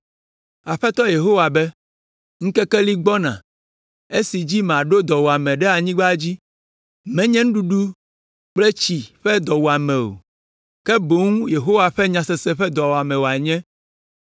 Aƒetɔ Yehowa be: “Ŋkeke li gbɔna esi dzi maɖo dɔwuame ɖe anyigba dzi, menye nuɖuɖu kple tsi ƒe dɔwuame o, ke boŋ Yehowa ƒe nyasese ƒe dɔwuame wòanye.